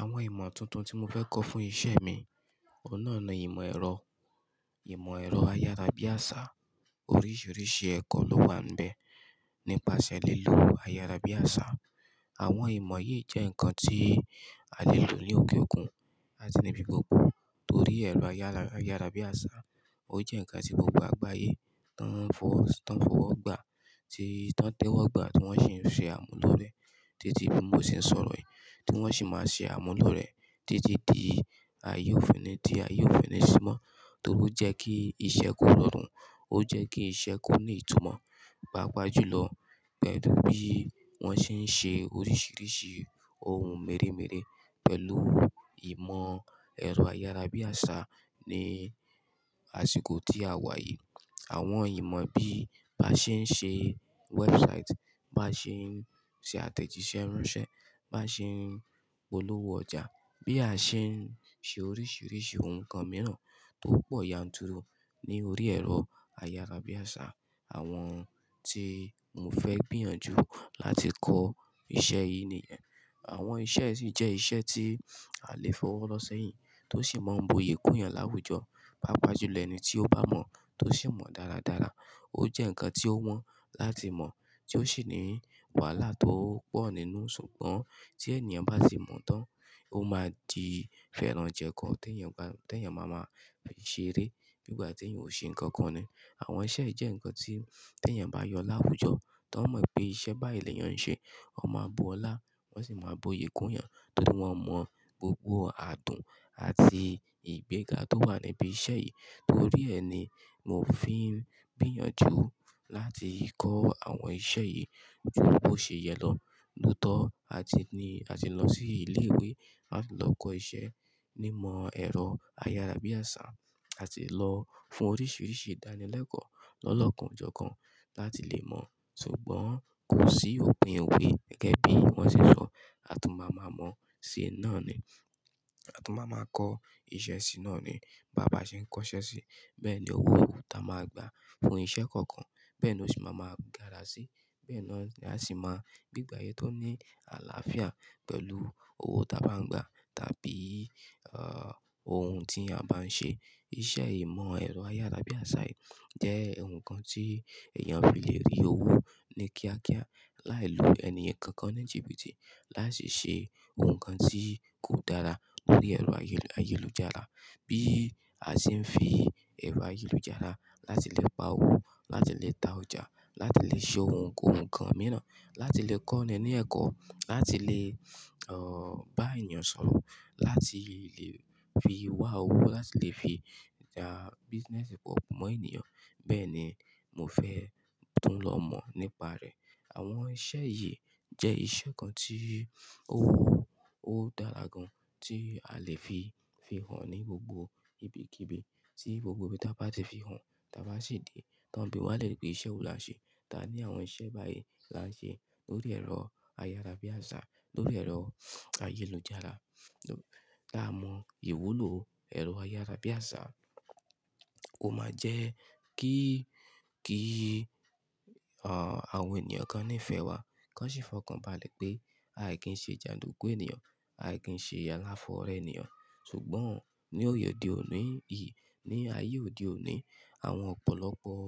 Àwọn ìmọ̀ tuntun tí mo fẹ́ kọ́ fún iṣẹ́ mi, ọ̀hun náà ni ìmọ̀ ẹ̀rọ, ìmọ̀ ẹ̀rọ ayárabíàṣá. Oríṣiríṣi ẹ̀kọ́ ló wà n bẹ̀ nípasẹ̀ lílo ayárabíàṣá. Àwọn ìmọ̀ yìí jẹ́ nǹkan tí a lè lò ní òkè òkun àti ní ibi gbogbo torí ẹ̀rọ ayárabíàṣá, ó jẹ́ ǹkan tí gbogbo àgbáyé tan fọwọ́ gba tan tewo gbà, tí wọ́n sì ń ṣe àmúlò rẹ̀ títí bí mo ṣe ń sọ̀rọ̀ yìí, tí wọ́n sì máa ṣe àmúlò rẹ̀ títí di ayé ò fi ni sí i mọ́ torí ó jẹ́ kí iṣẹ́ kó rọrùn, ó jẹ́ kí iṣẹ́ kó ní ìtumọ̀, pàápàá jùlọ pelù bí wọ́n ṣe ń ṣe oríṣiríṣi ohun mèremère pẹ̀lú ìmọ̀ ẹ̀rọ ayárabíàṣá ní àsìkò tí a wà yìí. Àwọn ìmọ̀ bí á ṣe ń ṣe website, bá ṣe ń ṣe àtẹ̀jíṣẹ́ ranṣẹ́, bá ṣe ń polówó ọjà, bí a ṣe ń ṣe oríṣiríṣi ohun kan mìíràn tó pọ̀ yanturu ní orí ẹ̀rọ ayárabíàṣá. Àwọn tí mo fẹ́ gbìyànjú láti kọ́ iṣẹ́ yìí nìyẹn. Àwọn iṣẹ́ yìí si jẹ́ iṣẹ́ tí aa lè fọwọ́ rọ sẹ́yìn tó sì máa ń bu ìyi kùn eyàn láwùjọ, pàápàá jùlọ ẹni tí ó bá mọ̀ tó sì mọ̀ dáradára. Ó jẹ́ ǹkan tí ó wọ́n láti mọ̀ tí ó sì ní wàhálà tó pọ̀ nínú. Ṣùgbọ́n tí ènìyàn bá ti mọ̀ tán, ó máa di fẹ́rànjẹ́kọ́ tí ènìyàn máa máa fi ṣeré bí ìgbà tí èeyàn ò ṣe ǹkan kan ni. Àwọn iṣẹ́ yìí jẹ́ ǹkan tí tí èeyàn bá yọ láwùjọ, tó n mọ̀ pé iṣẹ́ bá yìí ni ènìyàn ń ṣe, wón máa bu ọlá wọ́n sì máa bo ìyikùn eeyàn torí wọ́n mọ̀ gbogbo adùn àti ìgbéga tó wà níbí iṣẹ́ yìí. Torí ẹ ni mo fi ń gbìyànjú láti kọ́ àwọn iṣẹ́ yìí ju bo ṣe yẹ lọ, lotọ̀, àti lọ sí ilé ìwé láti lọ kọ́ iṣẹ́ ní ìmọ̀ ẹ̀rọ ayárabíàṣá, àti lọ fún oríṣiríṣi ìdánilẹ́kọ̀ọ́ lọ́lọ́kanojọkan láti lè mọ̀. Ṣùgbọ́n kò sí òpin ìwé gẹ́gẹ́ bí wọ́n ṣe sọ, a tún máa ma mọ̀ sí náà ni, a tún máa ma kọ́ iṣẹ́ sí náà ni. Bà bá ṣe ń kọ́ iṣẹ́ sí, bẹ́ẹ̀ ni owó ta máa gbà fún iṣẹ́ kọ̀ọ̀kan, bẹ́ẹ̀ ni ó sì máa ma gára sí, bẹ́ẹ̀ ni a sì máa gbe igbe ayé tó ní àlàáfíà pẹ̀lú owó ta bá ń gbà tàbí ohun tí a bá ń ṣe. Iṣẹ́ ìmọ̀ ẹ̀rọ ayárabíàṣá yìí jẹ́ ohun kan tí èèyàn fi lè rí owó ní kíákíá láì lu ènì kankan ní jìbìtì lái si ṣe ohun kan tí kò dára lórí ẹ̀rọ ayélujára. Bí a ṣe ń fi ẹ̀rọ ayélujára láti lè pa owó, láti lè ta ọjà, láti lè ṣe ohun kohun kan mìíràn, láti lè kọ́ ni ní ẹ̀kọ́, láti lè bá ènìyàn sọ̀rọ̀, láti lè fi wá owó, láti lè fi ta business report mọ ènìyàn. Bẹ́ẹ̀ ni mo fẹ́ tùn lọ́ mọ̀ nípa rẹ̀. Àwọn iṣẹ́ yìí jẹ́ iṣẹ́ kan tí owó ó dára gan tí a lè fi fi hàn ní gbogbo ibikíbi tí gbogbo ibi táa bá ti fi hàn, táa bá sì dé, táa ń bíwa lẹ̀ere pé iṣẹ́ wo la ṣe. Tani àwọn iṣẹ́ bá yìí la ń ṣe lórí ẹ̀rọ ayárabíàṣá, lórí ẹ̀rọ ayélujára. Ta mọ ìwúlò ẹ̀rọ ayárabíàṣá, ó máa jẹ́ kí àwọn ènìyàn kan nífẹ̀ẹ́ wa, kí wọ́n sì fọkànbalẹ̀ pé ai kì n ṣe jàndùkú ènìyàn, ai kì n ṣe aláfọ̀worẹ́ ènìyàn. Ṣùgbọ́n ní òde òní yìí, ní ayé òde òní, àwọn ọ̀pọ̀lọpọ̀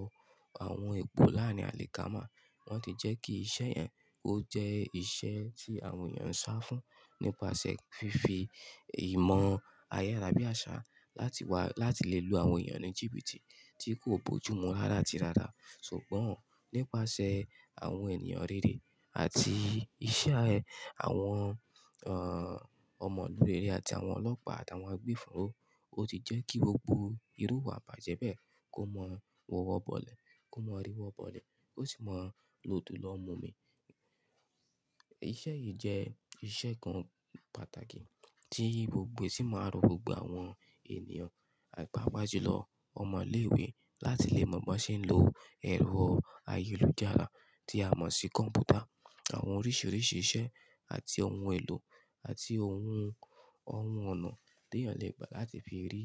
àwọn epo láárín àlìkámà, wọ́n ti jẹ́ kí iṣẹ́ yẹn ó jẹ́ iṣẹ́ tí àwọn ènìyàn ń sá fún nípasẹ̀ fífi ìmọ̀ ayárabíàṣá láti wà láti lè lu àwọn ènìyàn ní jìbìtì tí kò bo jù mú rárá àti rárá. Ṣùgbọ́n nípasẹ̀ àwọn ènìyàn rere àti iṣẹ́ àwọn ọmọlú rẹ̀rẹ́ àti àwọn ọlọ́pàá àtàwọn agbofinró, ó ti jẹ́ kí gbogbo irú ìwà ibàjẹ́ bẹ́ẹ̀ kó máa wọwọ́ bọ́lẹ̀, kó máa ríwọ́ bọ́lẹ̀ kó sì máa lòdo lọ́o mu mi. Iṣẹ́ yìí jẹ́ iṣẹ́ kan pàtàkì tí gbogbo e sì máa rọ gbogbo àwọn ènìyàn, pàápàá jùlọ ọmọ ilé ìwé láti lè mọ bí wọ́n ṣe ń lo ẹ̀rọ ayélujára tí a mọ̀ sí kọ̀m̀pútà, àwọn oríṣiríṣi iṣẹ́ àti ohun èlò àti ohun ọ̀nà tí èeyàn lè gbà láti fi rí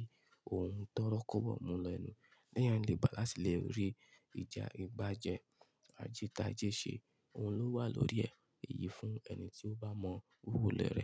ohun tórọkọbọ̀ múlo ile tí èeyàn lè gbà láti lè rí ìjà ìgbájẹ́, àjítájé ṣe, ohun tó wà lórí ẹ̀ eyìí fún ẹni tí ó bá mọ owó lérè.